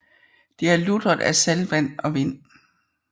Det er lutret af saltvand og vind